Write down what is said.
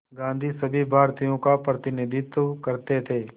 गांधी सभी भारतीयों का प्रतिनिधित्व करते थे